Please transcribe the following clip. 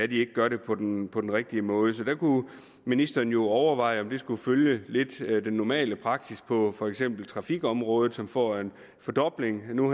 de ikke gør det på den på den rigtige måde så der kunne ministeren jo overveje om man der skulle følge den normale praksis på for eksempel trafikområdet som får en fordobling nu